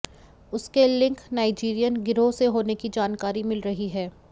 उसके link Nigerian गिरोह से होने की जानकारी मिल रही है